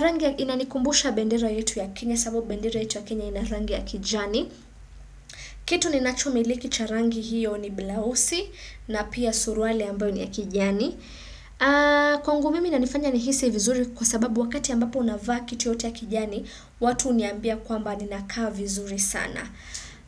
Rangi inanikumbusha bendera yetu ya Kenya sababu bendera yetu ya Kenya ina rangi ya kijani. Kitu ninachomiliki cha rangi hiyo ni blouse na pia suruali ambao ni ya kijani. Kwangu mimi inanifanya nihisi vizuri kwa sababu wakati ambapo unavaa kitu yoyote ya kijani watu huniambia kwamba ninakaa vizuri sana